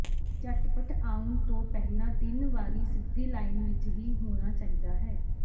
ਝਟਪਟ ਆਉਣ ਤੋਂ ਪਹਿਲਾਂ ਤਿੰਨ ਵਾਰੀ ਸਿੱਧੀ ਲਾਈਨ ਵਿੱਚ ਹੀ ਹੋਣਾ ਚਾਹੀਦਾ ਹੈ